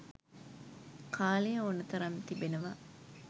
කාලය ඕනෑ තරම් තිබෙනවා.